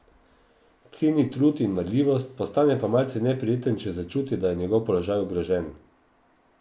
Ceni trud in marljivost, postane pa malce neprijeten, če začuti, da je njegov položaj ogrožen.